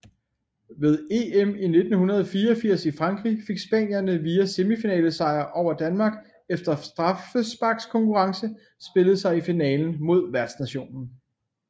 Ved EM i 1984 i Frankrig fik spanierne via semifinalesejr over Danmark efter straffesparkskonkurrence spillet sig i finalen mod værtsnationen